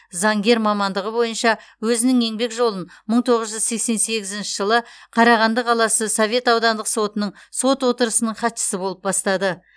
заңгер мамандығы бойынша өзінің еңбек жолын мың тоғыз жүз сексен сегізінші жылы қарағанды қаласы совет аудандық сотының сот отырысының хатшысы болып бастады